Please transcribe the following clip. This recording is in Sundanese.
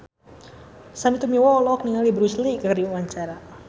Sandy Tumiwa olohok ningali Bruce Lee keur diwawancara